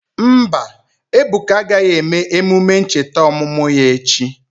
Mba, Ebuka agaghị eme emume ncheta ọmụmụ ya echi.